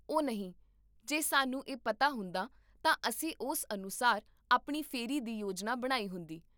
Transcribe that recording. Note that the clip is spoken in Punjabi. ਓਹ ਨਹੀਂ, ਜੇ ਸਾਨੂੰ ਇਹ ਪਤਾ ਹੁੰਦਾ, ਤਾਂ ਅਸੀਂ ਉਸ ਅਨੁਸਾਰ ਆਪਣੀ ਫੇਰੀ ਦੀ ਯੋਜਨਾ ਬਣਾਈ ਹੁੰਦੀ